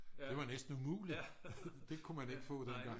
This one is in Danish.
det var næsten umuligt det kunne man ikke få dengang